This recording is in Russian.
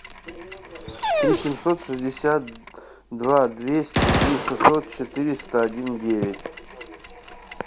три семьсот шестьдесят два двести три шестьсот четыреста один девять